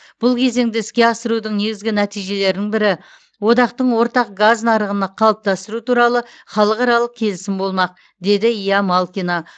бұл кезеңді іске асырудың негізгі нәтижелерінің бірі одақтың ортақ газ нарығын қалыптастыру туралы халықаралық келісім болмақ деді ия малкина